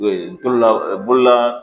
ndolola bolola